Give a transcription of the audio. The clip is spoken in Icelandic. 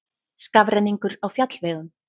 Skafrenningur á fjallvegum